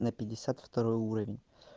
на пятьдесят второй уровень